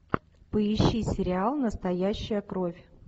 поищи сериал настоящая кровь